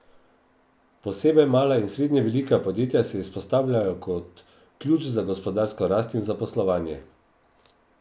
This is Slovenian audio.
Posebej mala in srednje velika podjetja se izpostavljajo kot ključ za gospodarsko rast in zaposlovanje.